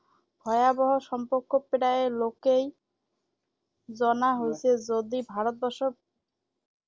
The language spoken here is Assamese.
ভয়াৱহ সম্পৰ্ক প্ৰায় লোকেই জনা হৈছে যদি ভাৰতবৰ্ষত